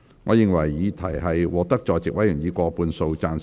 我認為議題獲得在席委員以過半數贊成。